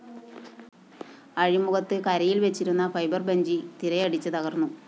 അഴിമുഖത്ത് കരയില്‍ വച്ചിരുന്ന ഫൈബർ വഞ്ചി തിരയടിച്ച് തകര്‍ന്നു